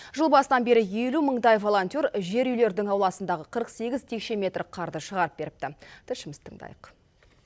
жыл басынан бері елу мыңдай волонтер жер үйлердің ауласындағы қырық сегіз текше метр қарды шығарып беріпті тілшімізді тыңдайық